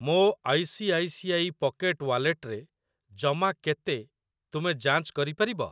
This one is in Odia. ମୋ I C I C I pocket ୱାଲେଟରେ ଜମା କେତେ ତୁମେ ଯାଞ୍ଚ କରିପାରିବ?